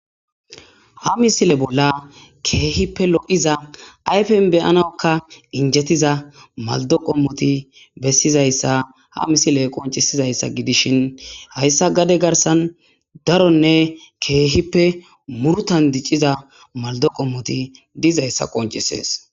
Ha misile bolla keehippe lo'iza ayfen beyanakka injetiza maldo qommoti bessizayssa ha misile qoncisizayssa gidishin hayssa gade garsan daronne keehippe murtan dicciza maldo qommoti dizayssa qoncisees.